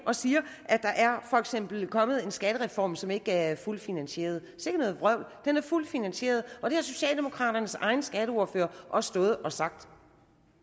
og siger at der for eksempel er kommet en skattereform som ikke er fuldt finansieret sikke noget vrøvl den er fuldt finansieret og det har socialdemokraternes egen skatteordfører også stået og sagt